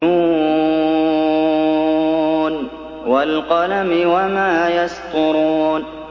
ن ۚ وَالْقَلَمِ وَمَا يَسْطُرُونَ